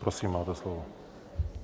Prosím, máte slovo.